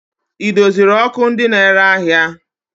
Ị doziri ọkụ ndị na-ere ahịa?